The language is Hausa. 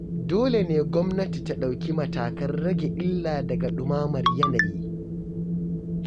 Dole ne gwamnati ta ɗauki matakan rage illa daga ɗumamar yanayi.